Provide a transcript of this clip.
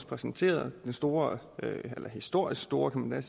præsenteret den store historisk store kan man